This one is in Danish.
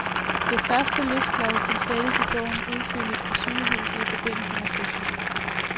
Det første løsblad, som sættes i bogen, udfyldes på sygehuset i forbindelse med fødslen.